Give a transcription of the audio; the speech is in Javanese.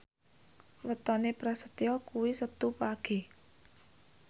wetone Prasetyo kuwi Setu Wage